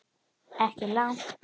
Ekki langt.